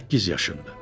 Səkkiz yaşındır.